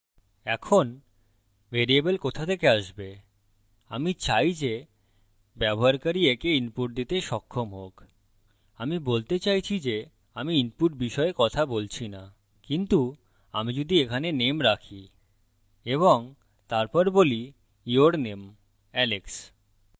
এখন ভ্যারিয়েবল কোথা থেকে আসবে আমি চাই যে ব্যবহারকারী একে input দিতে সক্ষম হোক আমি বলতে চাইছি যে আমি input বিষয়ে কথা বলছি now কিন্তু আমি যদি এখানে name রাখি এবং তারপর বলি your name alex